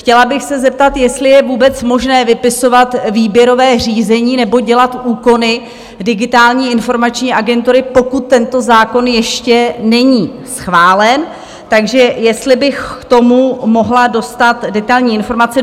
Chtěla bych se zeptat, jestli je vůbec možné vypisovat výběrové řízení nebo dělat úkony Digitální informační agentury, pokud tento zákon ještě není schválen, takže jestli bych k tomu mohla dostat detailní informace?